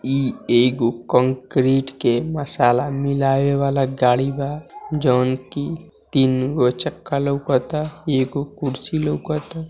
ई एक कंक्रीट के मसाला मिलाये वाला गाडी वा जोन की तीनगो चक्का लोकत आ एगो ऊ कुर्सी लोगत।